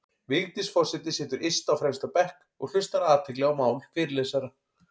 Vigdís forseti situr yst á fremsta bekk og hlustar af athygli á mál fyrirlesara.